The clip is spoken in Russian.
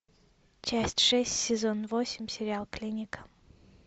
часть шесть сезон восемь сериал клиника